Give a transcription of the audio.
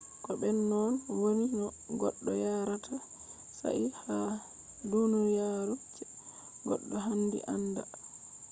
ko be non wodi no goddo yaarata shayi ha duniyaru je goddo handi aanda